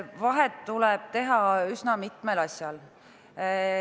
Vahet tuleb teha üsna mitmel asjal.